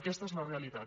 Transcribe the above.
aquesta és la realitat